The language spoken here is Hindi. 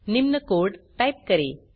निम्न कोड़ टाइप करें